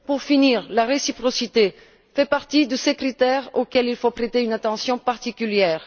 Pour finir, la réciprocité fait partie de ces critères auxquels il faut prêter une attention particulière.